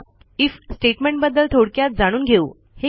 if स्टेटमेंटबद्दल थोडक्यात जाणून घेऊ